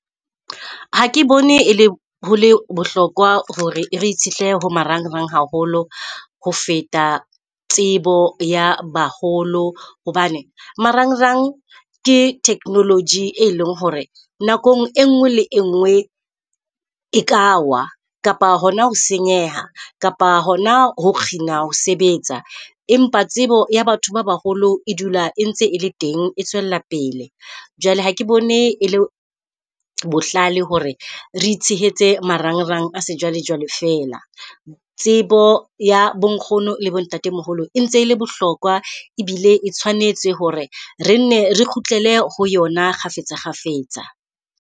Ha ke bone e le ho le bohlokwa hore re itshetlehile ho marang rang haholo ho feta tsebo ya baholo hobane marang rang ke technology, e leng hore nako engwe le engwe e ka wa, kapa hona ho senyeha. Kapa hona ho kgina ho sebetsa empa tsebo ya batho ba baholo e dula e ntse e le teng, e tswella pele. Jwale ha ke bone e le bohlale hore re itshehetse marang rang a se jwale jwale fela. Tsebo ya bo nkgono lebo ntate moholo e ntse le bohlokwa ebile e tshwanetse hore re nne re kgutlele ho yona kgafetsa kgafetsa.